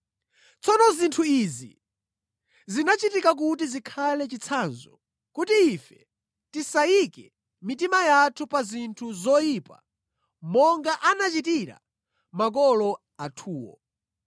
Tsono zinthu izi zinachitika kuti zikhale chitsanzo, kuti ife tisayike mitima yathu pa zinthu zoyipa monga anachitira makolo athuwo.